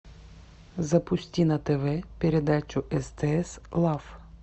запусти на тв передачу стс лав